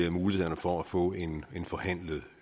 i mulighederne for at få en forhandlet